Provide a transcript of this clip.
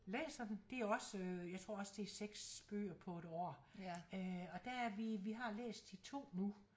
Læser den det er også øh jeg tror også det er 6 bøger på et år øh og der er vi vi har læst de 2 nu